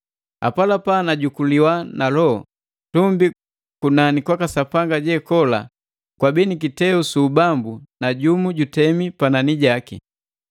Apalapa najukuliwa na Loho. Tumbi, kunani kwaka Sapanga jekola kwabii ni kiteu su ubambu na jumu jutemi panani jaki.